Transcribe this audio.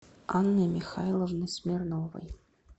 анны михайловны смирновой